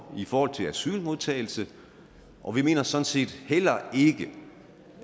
i forhold til asylmodtagelse og vi mener sådan set heller ikke